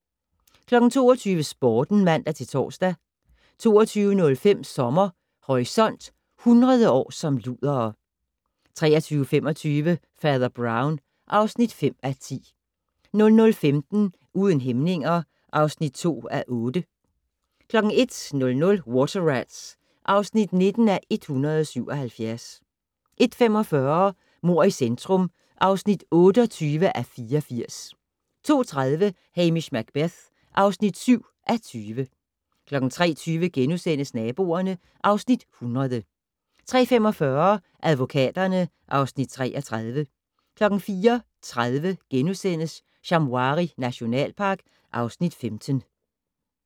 22:00: Sporten (man-tor) 22:05: Sommer Horisont: 100 år som ludere 23:25: Fader Brown (5:10) 00:15: Uden hæmninger (2:8) 01:00: Water Rats (19:177) 01:45: Mord i centrum (28:84) 02:30: Hamish Macbeth (7:20) 03:20: Naboerne (Afs. 100)* 03:45: Advokaterne (Afs. 33) 04:30: Shamwari nationalpark (Afs. 15)*